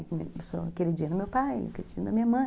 Eu sou queridinha do meu pai, queridinha da minha mãe.